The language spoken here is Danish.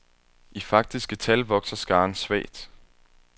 I faktiske tal vokser skaren svagt.